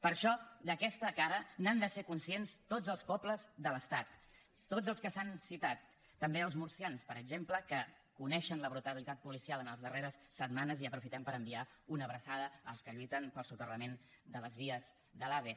per això d’aquesta cara n’han de ser conscients tots els pobles de l’estat tots els que s’han citat també els murcians per exemple que coneixen la brutalitat policial en les darreres setmanes i aprofitem per enviar una abraçada als que lluiten pel soterrament de les vies de l’ave